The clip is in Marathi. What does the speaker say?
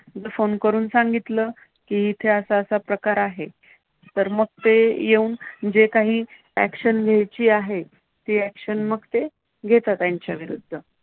Phone करून सांगितलं की इथे असा असा प्रकार आहे, तर मग ते येऊन म्हणजे काही action घ्यायची आहे, ती action मग घेतात ते त्यांच्याविरुद्ध.